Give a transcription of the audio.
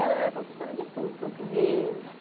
Ela era professora de tudo, português.